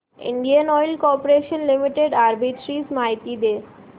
Indian oil corporation limited arbitrage माहिती दे